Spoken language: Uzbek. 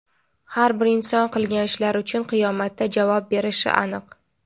Har bir inson qilgan ishlari uchun qiyomatda javob berishi aniq.